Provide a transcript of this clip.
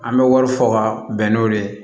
An bɛ wari fɔ ka bɛn n'o de ye